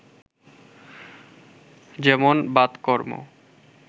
যেমন বাতকর্ম